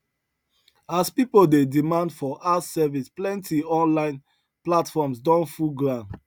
as people dey demand for house service plenty online platforms don full ground